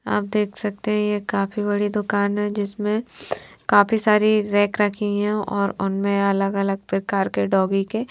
आप देख सखते है ये काफी बड़ी दुकान है जिसमे काफी सारे रैक रखी है और उनमे अलग अलग प्रकार के डॉगी के--